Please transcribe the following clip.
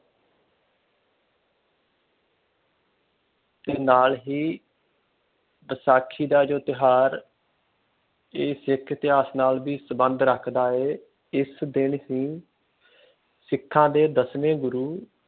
ਤੇ ਨਾਲ ਹੀ ਬੈਸਾਖੀ ਦਾ ਜੌ ਤਿਉਹਾਰ ਇਹ ਸਿੱਖ ਇਤਿਹਾਸ ਨਾ ਵੀ ਸਬੰਧ ਰੱਖਦਾ ਹੈ । ਇਸ ਦਿਨ ਹੀ ਸਿੱਖ ਦੇ ਦਸਵੇ ਗੁਰੂ